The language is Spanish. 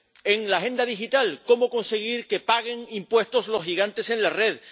En la Agenda Digital cómo conseguir que paguen impuestos los gigantes en la red.